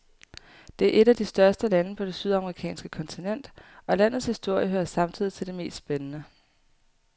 Det er et af de største lande på det sydamerikanske kontinent, og landets historie hører samtidig til de mest spændende.